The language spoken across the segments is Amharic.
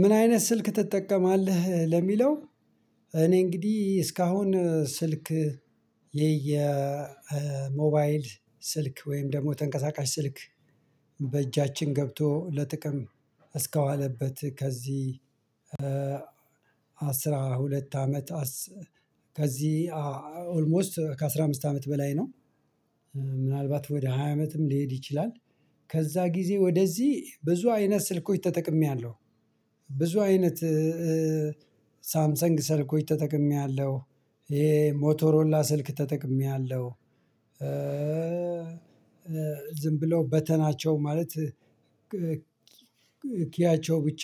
ምን አይነት ስልክ ትጠቀማለህ ለሚለው? እኔ እንግዲህ እስካሁን ስልክ የየሞባይል ስልክ ወይም ደግሞ ተንቀሳቃሽ ስልክ በእጃችን ገብቶ ለጥቅም እስከዋለበት ከዚህ አስራ ሁለት አመት ከዚህ ኦልሞስት ከአስራአምስት አመት በላይ ነው። ምናልባት ወደ ሃያ አመትም ሊሄድ ይችላል። ከዛ ጊዜ ወደዚህ ብዙ አይነት ስልኮች ተጠቅሜያለሁ። ብዙ አይነት ሳምሰንግ ሰልኮች ተጠቅሜያለሁ። ይሄ ሞቶሮላ ስልክ ተጠቅሜያለሁ። ዝም ብለው በተናቸው ማለት ኪያቸው ብቻ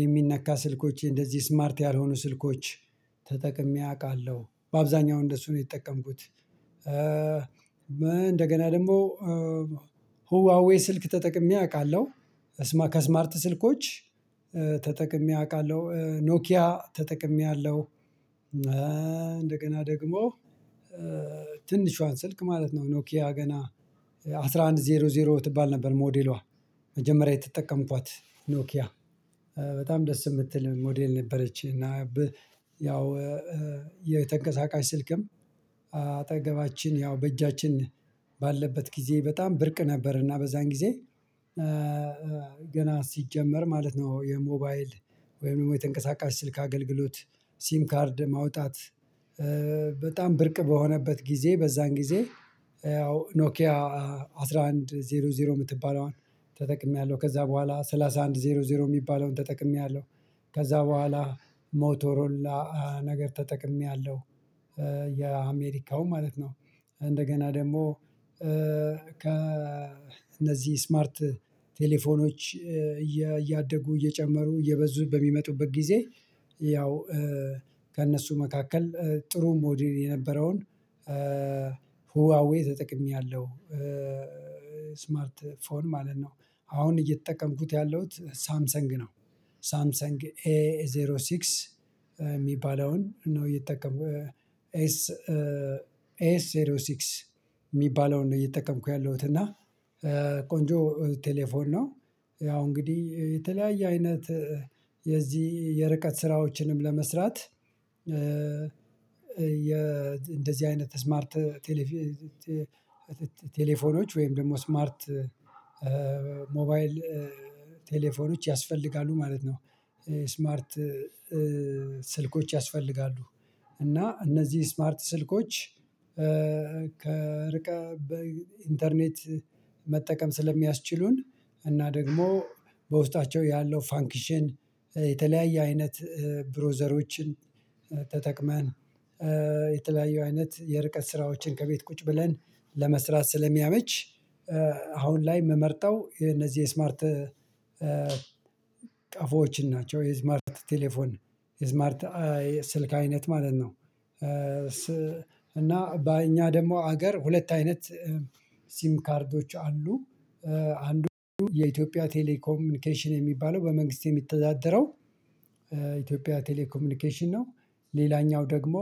የሚነካ ስልኮች እንደዚህ ስማርት ያልሆኑ ስልኮች ተጠቅሜ አውቃለሁ በአብዛኛው እንደሱ ነው የሚጠቀምኩት። እንደገና ደግሞ ሁዋዌ ስልክ ተጠቅሜ አውቃለሁ። ከስማርት ስልኮች ተጠቅሜ አውቃለሁ ኖኪያ ተጠቅሜ አለው። እንደገና ደግሞ ትንሿን ስልክ ማለት ነው ኖኪያ ገና አስራ አንድ ዜሮ ዜሮ ትባል ነበር። ሞዴሏ መጀመሪያ የተጠቀምኳት ኖኪያ በጣም ደስ የምትል ሞዴል ነበረች። እና ያው የተንቀሳቃሽ ስልክም አጠገባችን ያው በእጃችን ባለበት ጊዜ በጣም ብርቅ ነበር። እና በዛን ጊዜ ገና ሲጀመር ማለት ነው የሞባይል ወይም ደግሞ የተንቀሳቃሽ ስልክ አገልግሎት ሲም ካርድ ማውጣት በጣም ብርቅ በሆነበት ጊዜ በዛን ጊዜ ያው ኖኪያ አስራ አንድ ዜሮ ዜሮ የምትባለዋን ተጠቅሜያለሁ። ከዛ በኋላ ሰላሳ አንድ ዜሮ ዜሮ የሚባለውን ተጠቅሜያለሁ። ከዛ በኋላ ሞቶሮላ ነገር ተጠቅሜያለሁ። የአሜሪካው ማለት ነው እንደገና ደግሞ ከእነዚህ ስማርት ቴሌፎኖች እያደጉ እየጨመሩ እየበዙ በሚመጡበት ጊዜ ያው ከእነሱ መካከል ጥሩ ሞዴል የነበረውን ሁዋዌ ተጠቅሜያለሁ። ስማርት ፎን ማለት ነው አሁን እየተጠቀምኩት ያለሁት ሳምሰንግ ነው። ሳምሰንግ ኤ ዜሮ ሲክስ የሚባለውን ነው የተጠቀምኩት ኤስ ኤስ ኤስ ሲክስ የሚባለውን ነው የተጠቀምኩ ያለሁት እና ቆንጆ ቴሌፎን ነው። ያው እንግዲህ የተለያየ አይነት የዚህ የርቀት ስራዎችንም ለመስራት የ እንደዚህ አይነት ስማርት ቴሌፎኖች ወይም ደግሞ ስማርት ሞባይል ቴሌፎኖች ያስፈልጋሉ ማለት ነው። ስማርት ስልኮች ያስፈልጋሉ እና እነዚህ ስማርት ስልኮች ከርቀት በኢንተርኔት መጠቀም ስለሚያስችሉን እና ደግሞ በውስጣቸው ያለው ፋንክሽን የተለያየ አይነት ብሮዘሮችን ተጠቅመን የተለያየ አይነት የርቀት ስራዎችን ከቤት ቁጭ ብለን ለመስራት ስለሚያመች። አሁን ላይ የምመርጠው የነዚህ ስማርት ቀፎችን ናቸው የስማርት ቴሌፎን የስማርት ስልክ አይነት ማለት ነው። እና በእኛ ደግሞ አገር ሁለት አይነት ሲም ካርዶች አሉ። አንዱ የኢትዮጵያ ቴሌኮሚኒኬሽን የሚባለው በመንግስት የሚተዳደረው ኢትዮጵያ ቴሌኮሚኒኬሽን ነው። ሌላኛው ደግሞ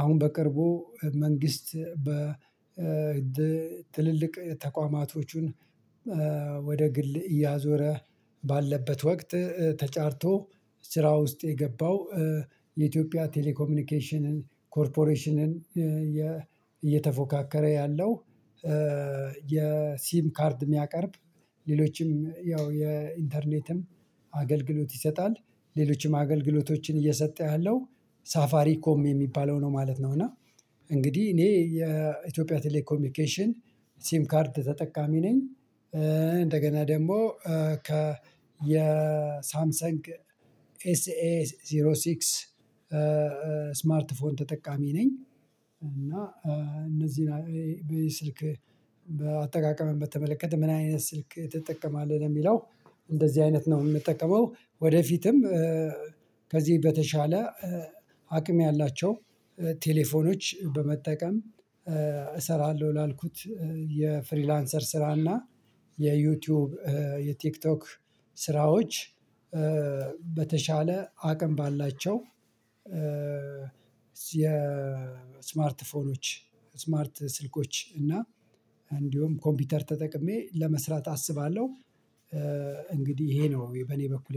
አሁን በቅርቡ መንግስት በ ትልልቅ ተቋማቶቹን ወደ ግል እያዞረ ባለበት ወቅት ተጫርቶ ስራ ውስጥ የገባው የኢትዮጵያ ቴሌኮሚኒኬሽንን ኮርፖሬሽንን እየተፎካከረ ያለው የሲም ካርድ የሚያቀርብ ሌሎችም ያው የኢንተርኔትም አገልግሎት ይሰጣል ሌሎችም አገልግሎቶችን እየሰጠ ያለው ሳፋሪ ኮም የሚባለው ነው ማለት ነው። እና እንግዲህ እኔ የኢትዮጵያ ቴሌኮሚኒኬሽን ሴም ካርድ ተጠቃሚ ነኝ። እንደገና ደግሞ ከ የሳምሰንግ ኤስኤ ዜሮ ሲክስ ስማርት ፎን ተጠቃሚ ነኝ። እና እነዚህን በስልክ በአጠቃቀም በተመለከተ ምን አይነት ስልክ ትጠቀማለህ ለሚለው? እንደዚህ አይነት ነው የምጠቀመው። ወደፊትም ከዚህ በተሻለ አቅም ያላቸው ቴሌፎኖች በመጠቀም እሰራለሁ ላልኩት የፍሪላንሰር ስራና የዩቲዩብ የቲክቶክ ስራዎች በተሻለ አቅም ባላቸው የስማርት ፎኖች ስማርት ስልኮች እና እንዲሁም ኮምፒውተር ተጠቅሜ ለመስራት አስባለሁ። እንግዲህ ይሄ ነው በኔ በኩል